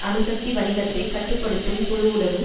அணுசக்தி வணிகத்தை கட்டு படுத்தும் குழுவுடனும்